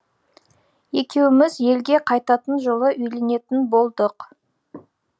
екеуміз елге қайтатын жылы үйленетін болдық